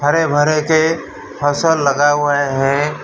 हरे भरे के फसल लगा हुआ है।